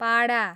पाडा